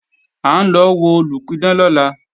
À ń lọ wo olùpidán lọ́la